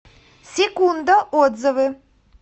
секунда отзывы